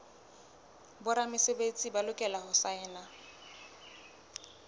boramesebetsi ba lokela ho saena